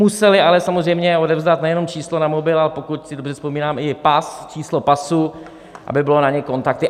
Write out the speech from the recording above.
Museli ale samozřejmě odevzdat nejenom číslo na mobil, ale pokud si dobře vzpomínám, i pas, číslo pasu, aby byly na ně kontakty.